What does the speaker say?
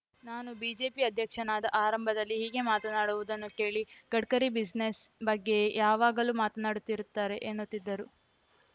ನಾನು ಬಿಜೆಪಿ ಅಧ್ಯಕ್ಷನಾದ ಆರಂಭದಲ್ಲಿ ಹೀಗೆ ಮಾತನಾಡುವುದನ್ನು ಕೇಳಿ ಗಡ್ಕರಿ ಬಿಸಿನೆಸ್‌ ಬಗ್ಗೆಯೇ ಯಾವಾಗಲೂ ಮಾತನಾಡುತ್ತಿರುತ್ತಾರೆ ಎನ್ನುತ್ತಿದ್ದರು